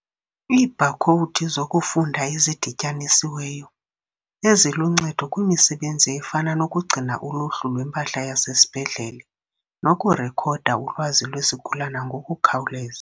Iibhakhowudi zokufunda ezidityanisiweyo, eziluncedo kwimisebenzi efana nokugcina uluhlu lwempahla yasesibhedlele nokurekhoda ulwazi lwesigulana ngokukhawuleza.